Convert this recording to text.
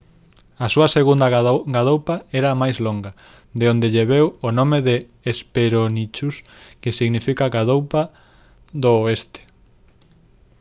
a súa segunda gadoupa era máis longa de onde lle veu o nome de hesperonychus que significa «gadoupa do oeste»